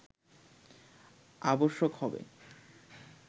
আবশ্যক হবে